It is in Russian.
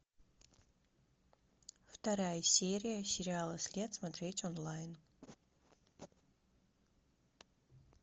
вторая серия сериала след смотреть онлайн